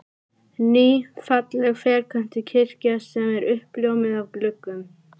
Ný, falleg ferköntuð kirkja sem er uppljómuð af gluggum